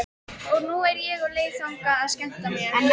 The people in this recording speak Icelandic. Og nú er ég á leið þangað að skemmta mér.